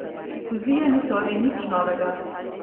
Fuzija ni torej nič novega.